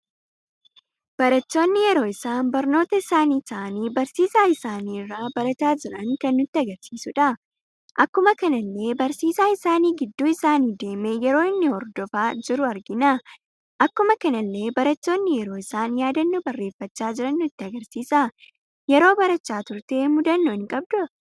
Barattoonni yeroo isaan barnoota isaani taa'aani barsiisa isaanii irra baraata jiran kan nutti agarsiisuudha. akkuma kanallee barsiisa isaanii gidduu isaani deeme yeroo inni hordoofa jiru argina. Akkuma kanallee barattoonni yeroo isaan yaadannoo barreeffacha jiran nutti agarsiisa. Yeroo barachaa turte mudannoo hin qabda